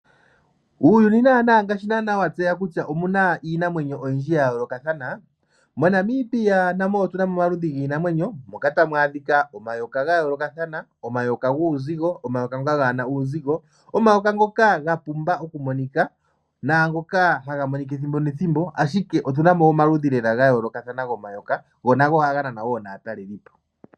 Uuyuni naana ngaashi naana wa tseya kutya omuna iinamwenyo oyindji ya yoolokathana, moNamibia na mo otuna mo omaludhi giinamwenyo mpoka ta mwaadhika omayoka ga yoolokathana. Omayoka guuzigo ,omayoka kaa gena uuzigo. Omayoka ngoka ga pumba oku monika naangoka haga monika ethimbo nethimbo ashike otuna mo omaludhi lela ga yoolokathana gomayoka, go nago ohaga nana woo naatalelipo